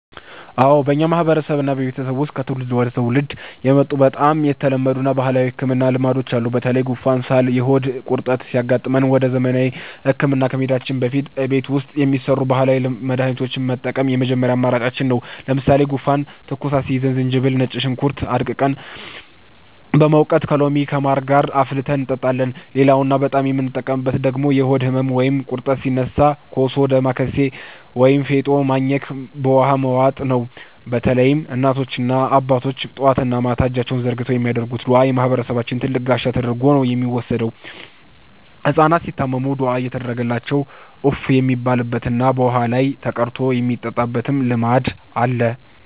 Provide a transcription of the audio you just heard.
አዎ፣ በእኛ ማህበረሰብና ቤተሰብ ውስጥ ከትውልድ ወደ ትውልድ የመጡ በጣም የተለመዱ የባህል ህክምና ልማዶች አሉ። በተለይ ጉንፋን፣ ሳልና የሆድ ቁርጠት ሲያጋጥመን ወደ ዘመናዊ ህክምና ከመሄዳችን በፊት እቤት ውስጥ የሚሰሩ ባህላዊ መድሃኒቶችን መጠቀም የመጀመሪያ አማራጫችን ነው። ለምሳሌ ጉንፋንና ትኩሳት ሲይዘን ዝንጅብልና ነጭ ሽንኩርት አድቅቀን በመውቀጥ ከሎሚና ከማር ጋር አፍልተን እንጠጣለን። ሌላውና በጣም የምንጠቀምበት ደግሞ የሆድ ህመም ወይም ቁርጠት ሲነሳ ኮሶ፣ ዳማከሴ ወይም ፌጦ ማኘክና በውሃ መዋጥ ነው። በተለይም እናቶችና አባቶች ጠዋትና ማታ እጃቸውን ዘርግተው የሚያደርጉት ዱዓ የማህበረሰባችን ትልቅ ጋሻ ተደርጎ ነው የሚወሰደው። ህጻናት ሲታመሙም ዱዓ እየተደረገባቸው እፍ የሚባልበትና በውሃ ላይ ተቀርቶ የሚጠጣበት ልማድ አለ።